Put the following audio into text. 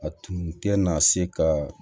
A tun tɛ na se ka